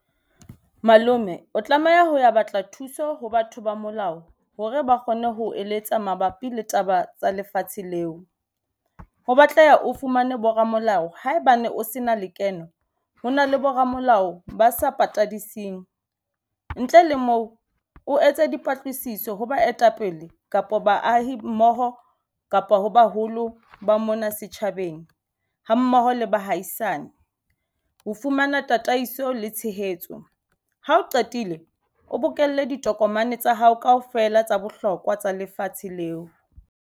Malome o tlameha ho ya batla thuso ho batho ba molao hore ba kgone ho eletsa mabapi le taba tsa lefatshe leo. Ho batleha o fumane bo ramolao haebane o se na lekeno ho na le bo ramolao ba sa patadise teng. Ntle le moo o etse dipatlisiso ho baetapele kapa baahi mmoho kapa ho baholo ba mona setjhabeng ha mmoho le baahisane ho fumana tataiso le tshehetso. Ha o qetile o bokelle ditokomane tsa hao kaofela tsa bohlokwa tsa lefatshe leo.